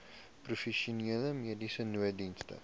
provinsiale mediese nooddienste